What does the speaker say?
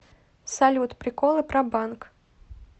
салют приколы про банк